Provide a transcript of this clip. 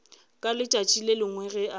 ka letšatši le lengwe ge